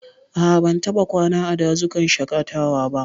A'a, ban taɓa kwana a dazukan shaƙatawa ba.